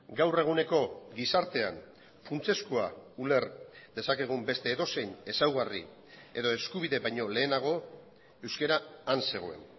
gaur eguneko gizartean funtsezkoa uler dezakegun beste edozein ezaugarri edo eskubide baino lehenago euskara han zegoen